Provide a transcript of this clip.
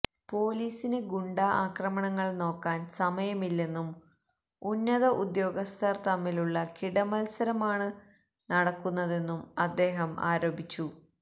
പൊലീസിന് ഗുണ്ടാ ആക്രമണങ്ങൾ നോക്കാൻ സമയമില്ലെന്നും ഉന്നത ഉദ്യോഗസ്ഥർ തമ്മിലുള്ള കിടമത്സരമാണ് നടക്കുന്നതെന്നും അദ്ദേഹം ആരോപിച്ചു